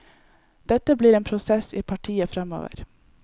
Dette blir en prosess i partiet fremover.